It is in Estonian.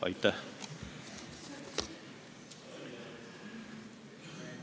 Aitäh!